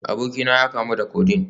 Abokina ya kamu da Codeine